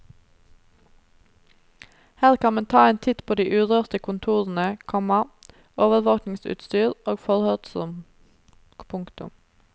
Her kan man ta en titt på de urørte kontorene, komma overvåkningsutstyr og forhørsrom. punktum